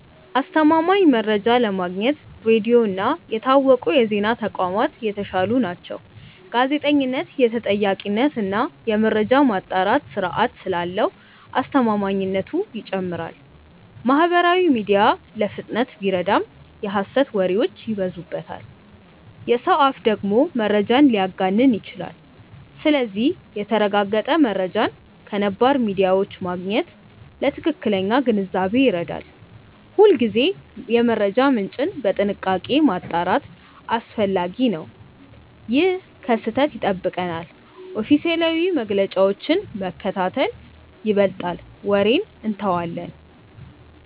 አስተማማኝ መረጃ ለማግኘት ሬዲዮ እና የታወቁ የዜና ተቋማት የተሻሉ ናቸው። ጋዜጠኝነት የተጠያቂነት እና የመረጃ ማጣራት ስርዓት ስላለው አስተማማኝነቱ ይጨምራል። ማህበራዊ ሚዲያ ለፍጥነት ቢረዳም የሐሰት ወሬዎች ይበዙበታል። የሰው አፍ ደግሞ መረጃን ሊያጋንን ይችላል። ስለዚህ የተረጋገጠ መረጃን ከነባር ሚዲያዎች ማግኘት ለትክክለኛ ግንዛቤ ይረዳል። ሁልጊዜ የመረጃ ምንጭን በጥንቃቄ ማጣራት አስፈላጊ ነው። ይህ ከስህተት ይጠብቀናል። ኦፊሴላዊ መግለጫዎችን መከታተል ይበልጣል ወሬን እንተዋለን።